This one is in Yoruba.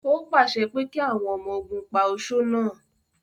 Ó pàṣẹ pé kí àwọn ọmọ ogun pa oṣó náà!